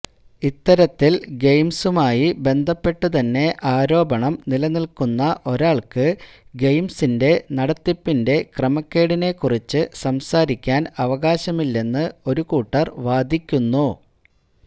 ഇത്തരത്തില് ഗെയിംസുമായി ബന്ധപ്പെട്ടുതന്നെ ആരോപണം നില്നില്ക്കുന്ന ഒരാള്ക്ക് ഗെയിംസിന്റെ നടത്തിപ്പിന്റെ ക്രമക്കേടിനെക്കുറിച്ച് സംസാരിക്കാന് അവകാശമില്ലെന്ന് ഒരു കൂട്ടര് വാദിക്കുന്നു